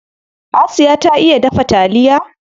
Asiya ta iya dafa taliya.